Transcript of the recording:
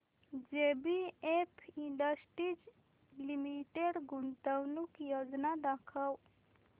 JBF industries limited गुंतवणूक योजना दाखव